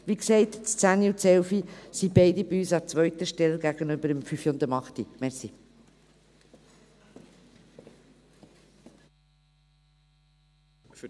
Wie gesagt, stehen die Planungserklärungen 10 und 11 bei uns an zweiter Stelle gegenüber den Planungserklärungen 5 und 8.